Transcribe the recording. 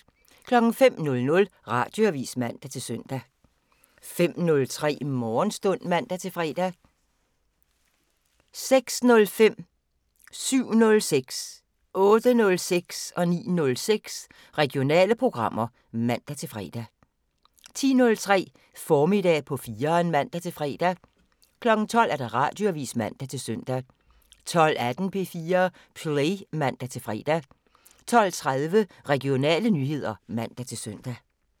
05:00: Radioavisen (man-søn) 05:03: Morgenstund (man-fre) 06:05: Regionale programmer (man-fre) 07:06: Regionale programmer (man-fre) 08:06: Regionale programmer (man-fre) 09:06: Regionale programmer (man-fre) 10:03: Formiddag på 4'eren (man-fre) 12:00: Radioavisen (man-søn) 12:18: P4 Play (man-fre) 12:30: Regionale nyheder (man-søn)